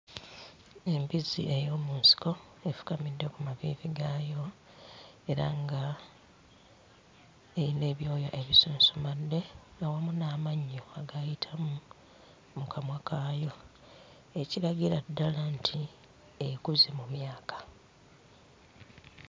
Embizzi ey'omu nsiko efukamidde ku maviivi gaayo era nga eyina ebyoya ebisunsumadde awamu n'amannyo agaayitamu mu kamwa kaayo ekiragira ddala nti ekuze mu myaka.